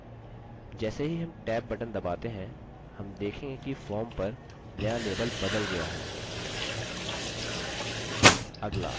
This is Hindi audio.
जैसे ही हम tab बटन दबाते हैं हम देखेंगे कि form पर नया label बदल गया है